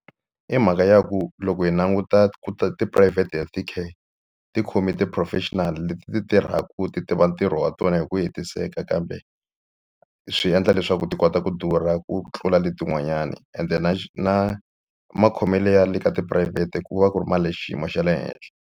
I mhaka ya ku loko hi languta ku private healthy care ti khome ti-professional leti ti tirhaku ti tiva ntirho wa tona hi ku hetiseka kambe swi endla leswaku ti kota ku durha ku tlula letin'wanyana ende na na makhomele ya le ka tiphurayivhete ku va ku ri ma le xiyimo xa le henhla.